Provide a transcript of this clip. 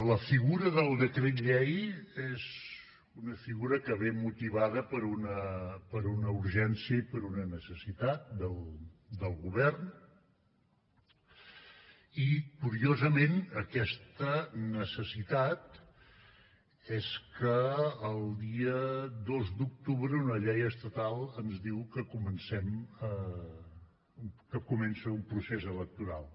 la figura del decret llei és una figura que ve motivada per una urgència i per una necessitat del govern i curiosament aquesta necessitat és que el dia dos d’octubre una llei estatal ens diu que comença un procés electoral